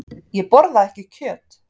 Ég borða ekki kjöt.